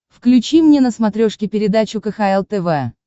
включи мне на смотрешке передачу кхл тв